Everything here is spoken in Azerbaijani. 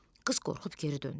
Qız qorxub geri döndü.